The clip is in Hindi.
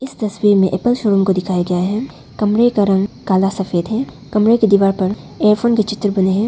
तस्वीर में एक एप्पल शोरूम को दिखाया गया है कमरे का रंग काला सफेद है कमरे की दीवार पर इयरफोन के चित्र बने हैं।